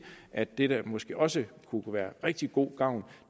at det der måske også kunne være af rigtig god gavn